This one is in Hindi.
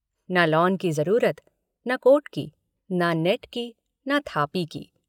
न लॉन की ज़रूरत न कोर्ट की न नेट की न थापी की।